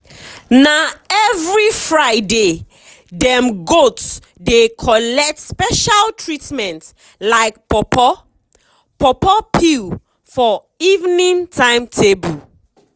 na every fridaydem goat dey collect special treatment like pawpaw pawpaw peel for evening timetable.